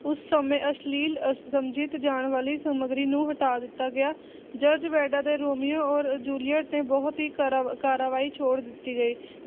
ਉਸ ਸਮੇਂ ਅਸ਼ਲੀਲ, ਅਸਮਝਿਤ ਜਾਣ ਵਾਲੀ ਸਮੱਗਰੀ ਨੂੰ ਹਟਾ ਦਿੱਤਾ ਗਿਆ, ਜਾਰਜ ਬੇਂਡਾ ਦੇ ਰੋਮੀਓ ਔਰ ਜੂਲੀਅਟ ਨੇ ਬਹੁਤ ਹੀ ਕਾਰਾ ਕਾਰਵਾਈ ਛੋੜ ਦਿੱਤੀ ਗਈ